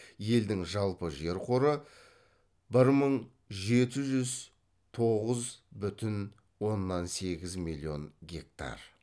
елдің жалпы жер қоры бір мың жеті жүз тоғыз бүтін оннан сегіз миллион гектар